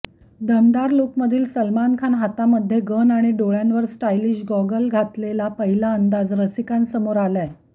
दमदार लूकमधील सलमान खान हातामध्ये गन आणि डोळ्यांवर स्टाईलिश गॉगल घातलेला पहिला अंदाज रसिकांसमोर आलाय